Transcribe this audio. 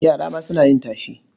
Yara ma suna yin tashe?